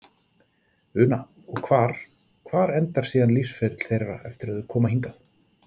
Una: Og hvar, hvar endar síðan lífsferill þeirra eftir að þau koma hingað?